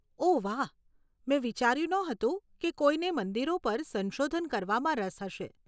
ઓહ વાહ, મેં વિચાર્યું નહોતું કે કોઈને મંદિરો પર સંશોધન કરવામાં રસ હશે.